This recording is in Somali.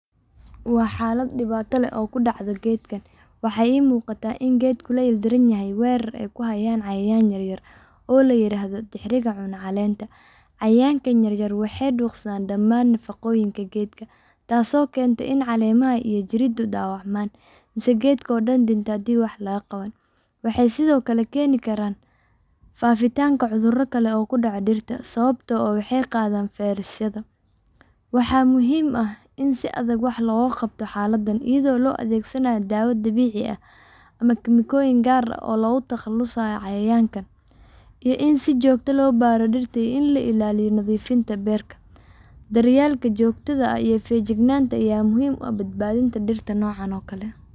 Waa xalad dibaata leh oo kudacda geedkan waxaa iimuqata in Geedka la ildaranyahay weerar ey kuhayaan cyayan yaryar oo lairahdo tixiriga cuno caleenta. Cayaynka yaryar waxey duqsadhan damaan nafaqooyinka geedka taas oo kenta in caleemaha iyo jiridu dawacmaan mise geedkodan dinta hadi wax lagaqabanin. Waxey sidhoo kale keeni karaan faafintanka cudhura kale oo kudoco dirta sawabtoo ah waxey qadhaan firus yadha. Waxaa muhiim ah in si adhag wax loogaqato xaaladan idho loo adhegsanaya daawa dabiici ah ama kemikoyin gaar oo logutaqalusaya cayayanka iyo in si joogta ah loio baro dirta iyo in lailaaliyo nadhiifinta beerta. Baryeelka joogtadha ahiyo fijignaanta yaa muhiim uah badbaadhinta dirta noocan oo kale.